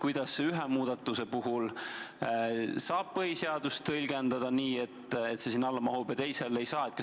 Kuidas ühe muudatuse puhul saab põhiseadust tõlgendada nii, et see sinna alla mahub, aga teisel puhul ei saa?